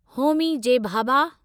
Homi J Bhabha